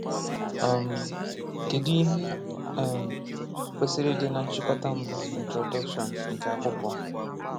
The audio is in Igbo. um Kedụ ihe um kwesịrị ịdị na nchịkọta mbụ (introduction) nke akwụkwọ?